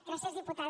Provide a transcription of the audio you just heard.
gràcies diputada